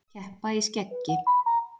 Keppa í skeggi